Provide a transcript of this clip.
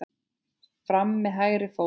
Fram með hægri fót.